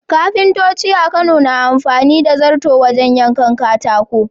Kafintoci a Kano na amfani da zarto wajen yankan katako.